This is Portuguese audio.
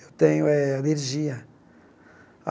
Eu tenho eh alergia.